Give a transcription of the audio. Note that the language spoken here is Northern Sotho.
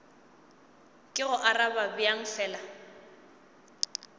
ke go arabe bjang fela